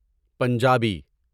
Punjabi